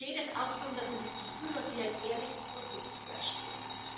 Da geht es auch darum, dass man das Gefühl hat, hier ein ehrliches Produkt zu erwerben.